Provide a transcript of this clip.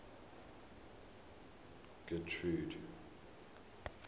getrude